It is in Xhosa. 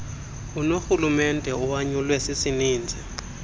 unorhulumente owanyulwe sisininzi